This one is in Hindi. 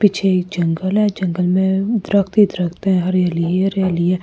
पीछे एक जंगल है जंगल में दरख्त ही दरख्त है हरियाली ही हरियाली है।